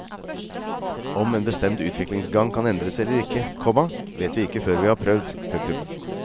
Om en bestemt utviklingsgang kan endres eller ikke, komma vet vi ikke før vi har prøvd. punktum